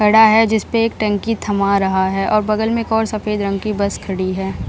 खड़ा है जिसपे एक टंकी थमा रहा है और बगल में एक और सफ़ेद रंग की बस खड़ी है।